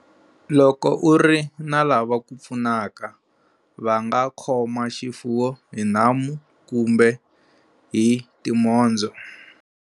Loko u ri na lava ku pfunaka, va nga khoma xifuwo hi nhamu kumbe hi timhondzo.